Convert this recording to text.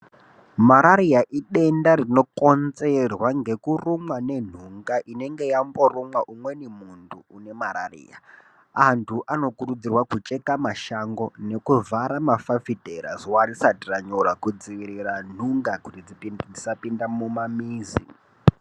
Marariya idenda rinokonzerwa ngekurumwa ngenhunga inenge yamboruma umweni muntu une marariya antu anokurudzirwa kucheka mashango nekuvhara mafafutera zuwa rishati ranyura kudzivirira nhunga kuti dzisapinda mumamizi.